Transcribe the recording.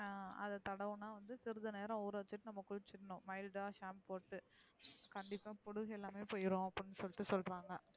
அஹ அதா தடவுன சிறிது நேரம் உர வச்சிட்டு maida shampoo போட்டு குளிசோன கண்டிப்பா பொடுகு எல்லாமே போயிரு அப்டி நு சொலிட்டு சொல்றகங்கா.